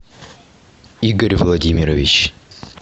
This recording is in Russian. игорь владимирович